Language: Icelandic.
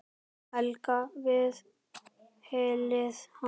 Helga við hlið hans.